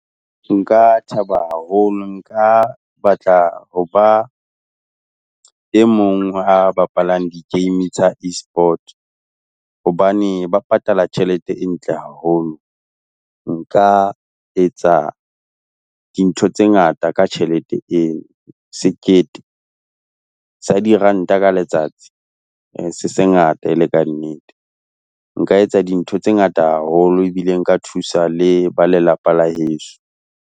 Nka thaba haholo, nka batla ho ba e mong a bapalang di game tsa E-sport, hobane ba patala tjhelete e ntle haholo. Nka etsa dintho tse ngata ka tjhelete eo. Sekete sa diranta ka letsatsi, se se sengata e le ka nnete, nka etsa dintho tse ngata haholo ebile nka thusa le ba lelapa la heso.